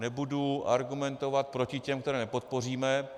Nebudu argumentovat proti těm, které nepodpoříme.